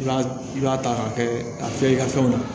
I b'a i b'a ta k'a kɛ a fiyɛlikɛ fɛnw na